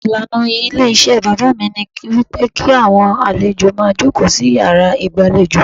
Ìlànà ilé iṣẹ́ bàbá mi ní wípé kí àwọn àlejò máa jókòó sí yàrá ìgbà lejò.